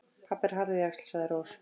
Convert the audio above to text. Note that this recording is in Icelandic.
Pabbi er harðjaxl, sagði Rós.